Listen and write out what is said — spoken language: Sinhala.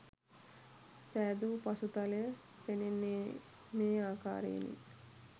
සෑදූ පසුතලය පෙනෙන්නේ මේ ආකාරයෙනි.